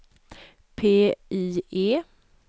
PIE